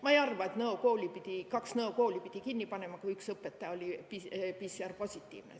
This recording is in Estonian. Ma ei arva, et kaks Nõo kooli pidi kinni panema, kui üks õpetaja oli PCR-positiivne.